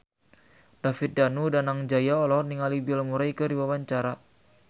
David Danu Danangjaya olohok ningali Bill Murray keur diwawancara